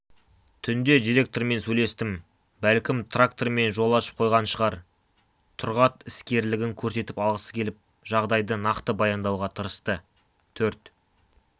түнде директормен сөйлестім бәлкім трактормен жол ашып қойған шығар тұрғат іскерлігін көрсетіп алғысы келіп жағдайды нақты баяндауға тырысты төрт